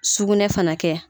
Sugunɛ fana kɛ.